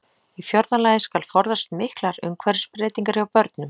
Í fjórða lagi skal forðast miklar umhverfisbreytingar hjá börnum.